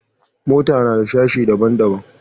Mota nada sashe daban daban